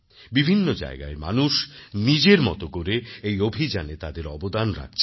বিভিন্ন জায়গায় মানুষ নিজের মতো করে এই অভিযানে তাদের অবদান রাখছেন